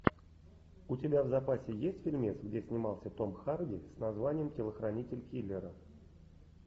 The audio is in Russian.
у тебя в запасе есть фильмец где снимался том харди с названием телохранитель киллера